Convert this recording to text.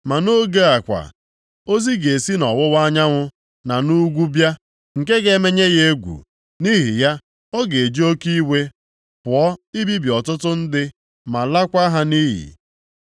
Ma nʼoge a kwa, ozi ga-esi nʼọwụwa anyanwụ na nʼugwu bịa, nke ga-emenye ya egwu. Nʼihi ya, ọ ga-eji oke iwe pụọ ibibi ọtụtụ ndị ma laakwa ha nʼiyi.